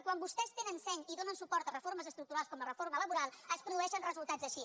quan vostès tenen seny i donen suport a reformes estructurals com la reforma laboral es produeixen resultats així